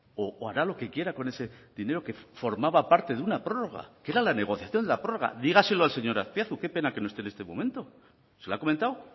o hará lo que quiera con ese dinero que formaba parte de una prórroga que era la negociación de la prórroga dígaselo al señor azpiazu qué pena que no esté en este momento se lo ha comentado